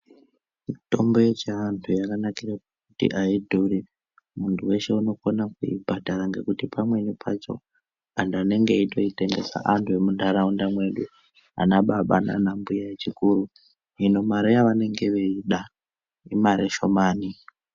Mitombo yechiantu yakanakira kuti hayidhuri, muntu weshe unokone kuyibhadhara ngekuti pamweni pacho antu vanenge veyitengese antu vemuntaraunda medu ana baba nana mbuya vechikiru. Hino mari yavanenge veyida imari shomani.